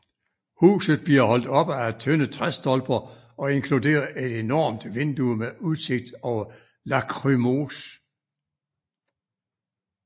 Huset bliver holdt oppe af tynde træstolper og inkluderer et enormt vindue med udsigt over Lachrymose